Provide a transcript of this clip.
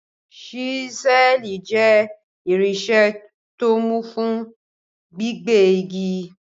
Ṣísẹ́ẹ̀lì jẹ́ irinṣẹ́ tó mú fún gbígbẹ́ igi.